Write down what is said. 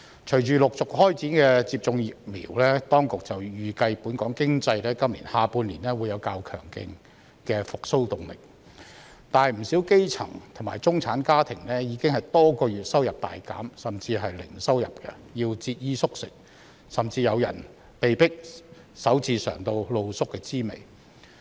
隨着陸續開展接種疫苗，當局預計本港經濟在今年下半年會有較強勁的復蘇動力，但不少基層和中產家庭已經多個月收入大減甚至零收入，要節衣縮食，甚至有人被迫首次嘗到露宿的滋味。